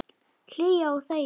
Hlýða og þegja.